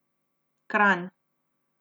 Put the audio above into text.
Kranj.